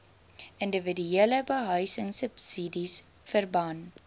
indiwiduele behuisingsubsidies verband